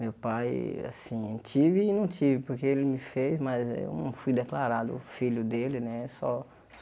Meu pai, assim, tive e não tive, porque ele me fez, mas eu não fui declarado filho dele, né só?